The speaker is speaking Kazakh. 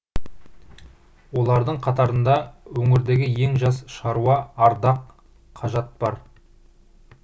олардың қатарында өңірдегі ең жас шаруа ардақ қажат бар